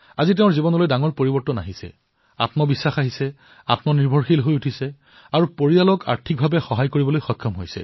আজি তেওঁৰ জীৱনলৈ এক বৃহৎ পৰিৱৰ্তন আহিছে আত্মবিশ্বাস আহিছেতেওঁ আত্মনিৰ্ভৰশীল হৈছে আৰু নিজৰ পৰিয়ালৰ বাবেও আৰ্থিক উন্নতিৰ এক অৱকাশৰ সৃষ্টি কৰিছে